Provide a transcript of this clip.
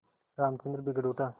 रामचंद्र बिगड़ उठा